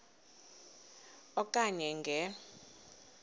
e okanye nge